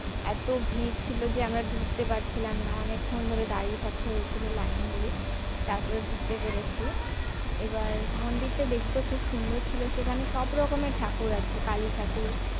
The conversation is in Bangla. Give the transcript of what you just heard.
এত ভিড় ছিল যে আমরা ঢুকতে পারছিলাম না অনেকক্ষণ ধরে দাঁড়িয়ে থাকতে হয়েছিল line দিয়ে। তারপরে ঢুকতে পেরেছি এবার মন্দিরটা দেখতে খুব সুন্দর ছিল সেখানে সব রকমের ঠাকুর আছে কালী ঠাকুর